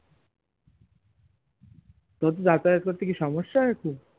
ওর কি যাতায়াত করতে কি সমস্যা হয়ে